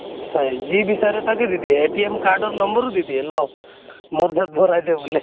নিশ্চয় যি বিচাঁৰে তাকে দি দিয়ে। card ৰ number ও দি দিয়ে, লʼ, মোৰ তাত ভৰাই দে বুলে